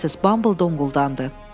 Missis Bumble donquldandı.